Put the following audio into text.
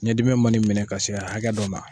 Ɲɛdimi man'i minɛ ka se hakɛ dɔ ma.